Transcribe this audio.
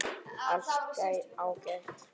Allt ágætt.